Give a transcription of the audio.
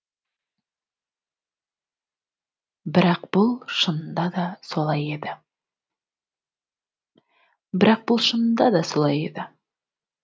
бірақ бұл шынында да солай еді